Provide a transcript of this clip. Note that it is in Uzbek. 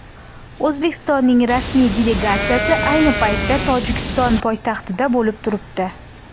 O‘zbekistonning rasmiy delegatsiyasi ayni paytda Tojikiston poytaxtida bo‘lib turibdi.